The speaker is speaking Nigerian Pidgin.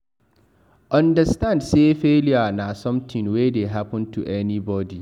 Understand sey failure na something wey dey happen to anybody